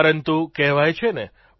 પરંતુ કહેવાય છે નેઃ